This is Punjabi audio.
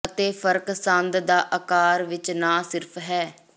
ਅਤੇ ਫਰਕ ਸੰਦ ਦਾ ਅਕਾਰ ਵਿੱਚ ਨਾ ਸਿਰਫ ਹੈ